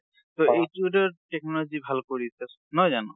ট এইটো এটা technology ভাল কৰিছে, নহয় জানো?